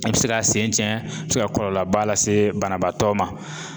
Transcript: I bi se k'a sen tiɲɛ i bɛ se ka kɔlɔlɔba lase banabaatɔ ma.